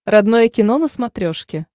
родное кино на смотрешке